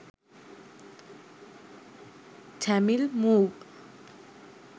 tamil move